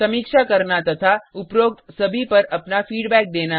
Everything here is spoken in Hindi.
समीक्षा करना तथा उपरोक्त सभी पर अपना फीडबैक देना